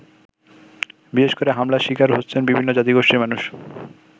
বিশেষ করে হামলার শিকার হচ্ছেন বিভিন্ন জাতিগোষ্ঠীর মানুষ।